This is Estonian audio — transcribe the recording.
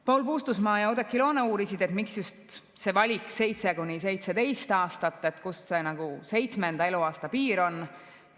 Paul Puustusmaa ja Oudekki Loone uurisid, miks just see valik, 7–17 aastat, kust see seitsmenda eluaasta piir on tulnud.